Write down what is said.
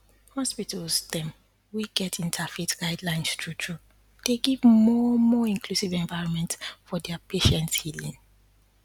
hospitals dem wey get interfaith guidelines truetrue dey give more more inclusive environment for their patients healin